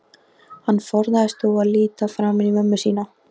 Hann forðaðist þó að líta framan í mömmu sína.